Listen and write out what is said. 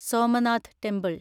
Somnath temple